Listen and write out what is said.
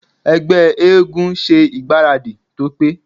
Ẹgbẹ́ eégún ṣe ìgbáradì tó pé.